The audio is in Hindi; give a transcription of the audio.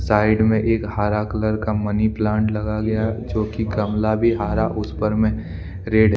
साइड मे एक हारा कलर का मनी प्लांट लगा गया हैजो कि गमला भी हारा उस पर मे रेड --